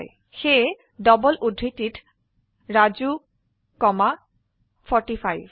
সেয়ে ডবল উদ্ধৃতিত ৰাজু কমা 45